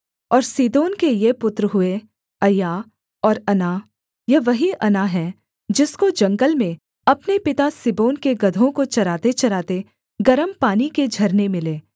और सीदोन के ये पुत्र हुए अय्या और अना यह वही अना है जिसको जंगल में अपने पिता सिबोन के गदहों को चरातेचराते गरम पानी के झरने मिले